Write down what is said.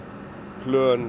plön